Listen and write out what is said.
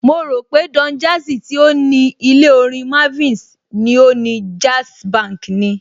Mo rò pé Don Jazzy tí ó ní ilé Orin Mavins ni ó ni Jazzbank ni.